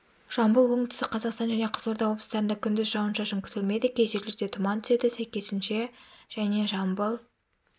жамбыл оңтүстік қазақстан және қызылорда облыстарында күндіз жауын-шашын күтілмейді кей жерлерде тұман түседі сәйкесінше және жамбыл